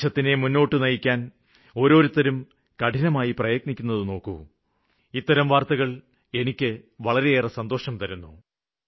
രാജ്യത്തെ മുന്നോട്ട് നയിക്കാന് ഓരോരുത്തരും കഠിനമായി പ്രയത്നിക്കുന്നത് നോക്കു ഇത്തരം വാര്ത്തകള് കേള്ക്കുമ്പോള് വളരെയേറെ സന്തോഷം തോന്നുന്നു